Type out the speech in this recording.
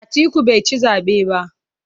Atiku bai ci zabe ba.